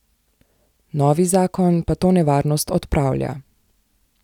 Novi zakon pa to nevarnost odpravlja.